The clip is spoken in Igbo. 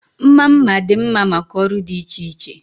Mma mma dị mma maka ọrụ dị iche iche.